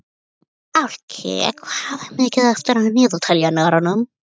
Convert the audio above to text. Fálki, hvað er mikið eftir af niðurteljaranum?